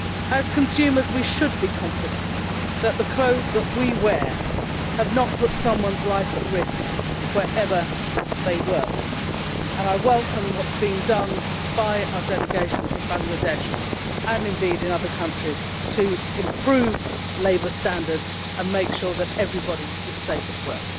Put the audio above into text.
As consumers we should be confident that the clothes we wear have not put someone's life at risk wherever they work, and I welcome what has been done by our delegation in Bangladesh and in other countries to improve labour standards and make sure that everybody is safe at work.